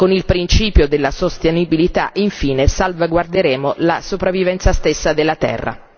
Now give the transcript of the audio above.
con il principio della sostenibilità infine salvaguarderemo la sopravvivenza stessa della terra.